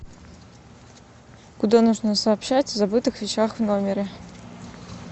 куда нужно сообщать о забытых вещах в номере